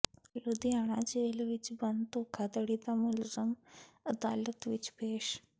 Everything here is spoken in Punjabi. ਲੁਧਿਆਣਾ ਜੇਲ੍ਹ ਵਿੱਚ ਬੰਦ ਧੋਖਾਧੜੀ ਦਾ ਮੁਲਜ਼ਮ ਅਦਾਲਤ ਵਿੱਚ ਪੇਸ਼